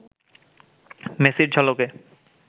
মেসির ঝলকে